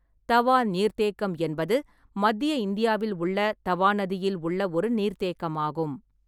தவா நீர்த்தேக்கம் என்பது மத்திய இந்தியாவில் உள்ள தவா நதியில் உள்ள ஒரு நீர்த்தேக்கமாகும்.